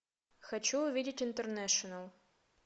хочу увидеть интернешнл